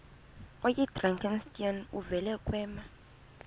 oyidrakenstein uvele kwema